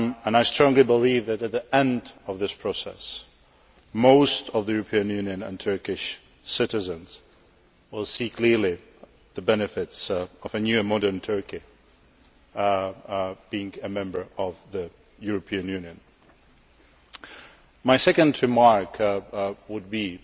I strongly believe that, at the end of this process, most European Union and Turkish citizens will see clearly the benefits of a new and modern Turkey being a Member of the European Union. My second remark would be